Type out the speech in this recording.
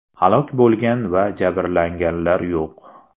Halok bo‘lgan va jabrlanganlar yo‘q.